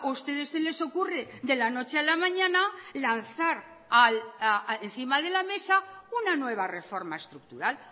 ustedes se les ocurre de la noche a la mañana lanzar encima de la mesa una nueva reforma estructural